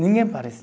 Ninguém parece.